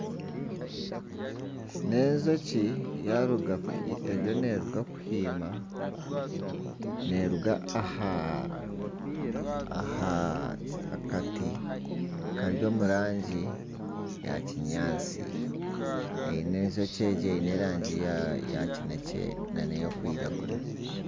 N'enjoki eriyo neeruga kuhiima neeruga aha kati kari omu rangi ya kinyaatsi, enjoki eine erangi ya kinekye nana erikwiragura